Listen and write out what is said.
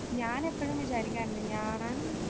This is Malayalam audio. ഞാൻ എപ്പഴും വിചാരിക്കാറുണ്ട്